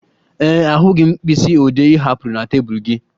Ee e, ahụghị m mkpịsị ode ị hapụrụ na tebụl gị